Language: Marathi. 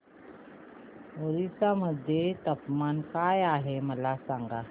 ओरिसा मध्ये तापमान काय आहे मला सांगा